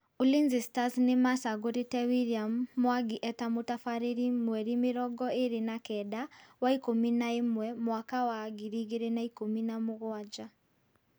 Ulinzi Stars nĩmacagũrite William Mwangi eta mũtabarĩri mweri mĩrongo ĩrĩ na keda wa ikũmi na ĩmwe mwaka wa ngiri igĩri na ikũmi na mũgwanja